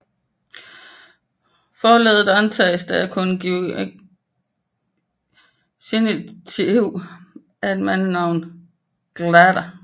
Forleddet antages at kunne være genitiv af et mandsnavn glda